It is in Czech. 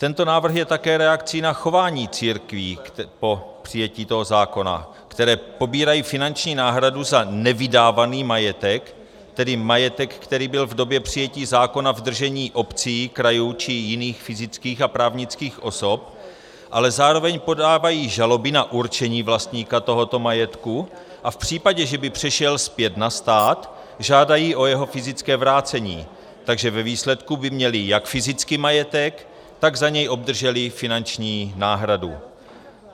Tento návrh je také reakcí na chování církví po přijetí tohoto zákona, které pobírají finanční náhradu za nevydávaný majetek, tedy majetek, který byl v době přijetí zákona v držení obcí, krajů či jiných fyzických a právnických osob, ale zároveň podávají žaloby na určení vlastníka tohoto majetku a v případě, že by přišel zpět na stát, žádají o jeho fyzické vrácení, takže ve výsledku by měli jak fyzický majetek, tak za něj obdrželi finanční náhradu.